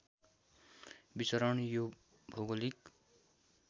विचरण यो भौगोलिक